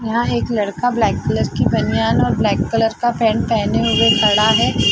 यहाँ एक लड़का ब्लेक कलर कि बनियान और ब्लेक कलर का पेंट पेहने हुए खड़ा है।